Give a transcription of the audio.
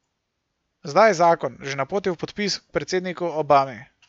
Zdaj je zakon že na poti v podpis k predsedniku Obami.